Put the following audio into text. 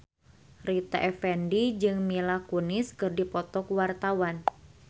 Rita Effendy jeung Mila Kunis keur dipoto ku wartawan